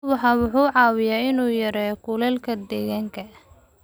Ubaxa wuxuu caawiyaa in uu yareeyo kulaylka deegaanka.